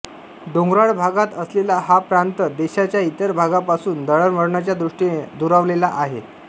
डोंगराळ भागात असलेला हा प्रांत देशाच्या इतर भागांपासून दळणवळणाच्या दृष्टीने दुरावलेला आहे